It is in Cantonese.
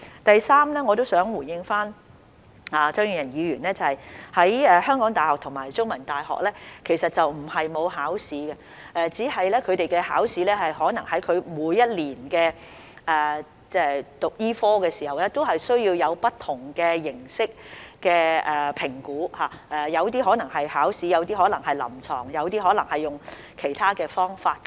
第三，我想回應張議員，香港大學及香港中文大學並非沒有考試，只是他們可能在每年讀醫科時，接受不同形式的評估，當中可能包括筆試、臨床考試或其他方式。